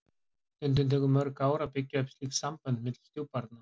Stundum tekur mörg ár að byggja upp slík sambönd milli stjúpbarna.